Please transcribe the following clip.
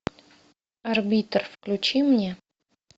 арбитр включи мне